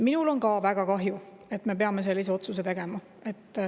Minul on ka väga kahju, et me peame sellise otsuse tegema.